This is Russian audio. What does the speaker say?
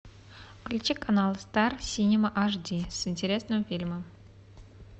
включи канал стар синема аш ди с интересным фильмом